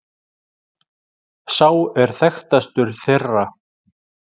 Sá er þekktastur þeirra.